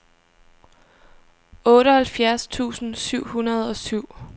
otteoghalvfjerds tusind syv hundrede og syv